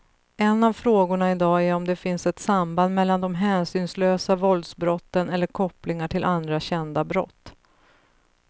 En av frågorna i dag är om det finns ett samband mellan de hänsynslösa våldsbrotten eller kopplingar till andra kända brott.